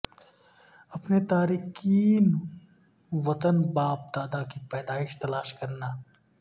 اپنے تارکین وطن باپ دادا کی پیدائش تلاش کرنا